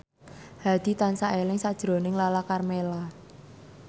Hadi tansah eling sakjroning Lala Karmela